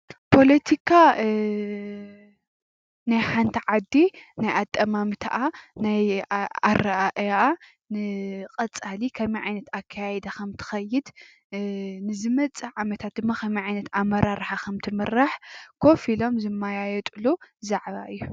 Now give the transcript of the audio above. ፖሎቲካ ናይ ሓንቲ ዓዲ ናይ ኣጠማምታኣ ፣ኣረኣእያኣ፣ ቀፃሊ ከመይ ዓይነት አካያይዳ ከም እትከይድ፣ ንመዝፅእ ዓመት ድማ ከመይ ዓይነት ኣመራርሓ ከምእትምራሕ ኮፍ እሎም ዝማያየጥሉ ዛዕባ እዩ።